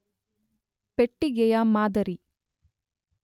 ಪೆಟ್ಟಿಗೆಯ ಮಾದರಿ